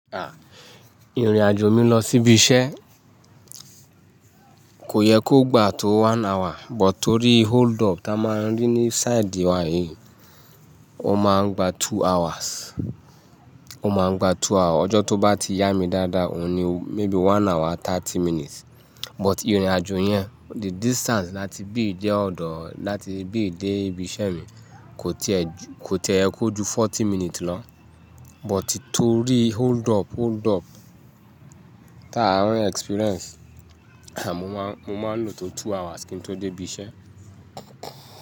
A, ìrìnàjò mi lọ síbi iṣẹ́ kò yẹ kó gbà tó one hour, but torí hold up tá máa ń rí ní side wa yìí, ó máa ń gba two hours, ó máa ń gba two hour. Ọjọ́ tó bá ti yá mi dáadáa òun ni maybe one hour thirty minutes. But ìrìnàjò yẹn, the distance láti bí i jẹ́ ọ̀dọ̀ láti bí i dé ibi iṣẹ́ mi kò tiẹ kò tiẹ̀ yẹ kó ju forty minutes lọ. But torí hold up, hold up tá a ń experience, à mo máa ń lò tó two hours kí n tó dé ibi iṣẹ́.